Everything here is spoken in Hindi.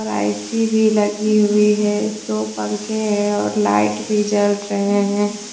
ए_सी भी लगी हुई है दो पंख हैं और लाइट भी जल रहे हैं।